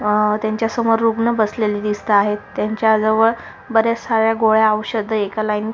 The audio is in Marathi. अ त्यांच्या समोर रुग्ण बसलेले दिसताहेत त्यांच्या जवळ बरेच साऱ्या गोळ्या ओषधं एका लाइन--